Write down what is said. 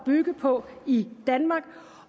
bygge på i danmark